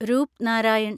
Rupnarayan